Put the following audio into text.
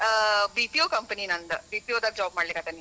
ಆ BPO company ನಂದ BPO ದಾಗ job ಮಾಡಲಿಕತ್ತೇನಿ.